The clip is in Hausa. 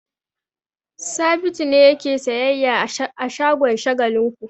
Sabitu ne yake sayyayya a shagon Shagalinku.